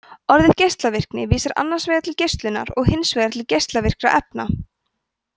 orðið geislavirkni vísar annars vegar til geislunar og hins vegar til geislavirkra efna